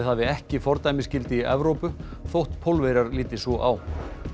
hafi ekki fordæmisgildi í Evrópu þótt Pólverjar líti svo á